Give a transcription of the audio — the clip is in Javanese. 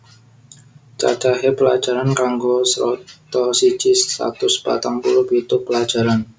Cacahe pelajaran kanggo Strata siji satus patang puluh pitu pelajaran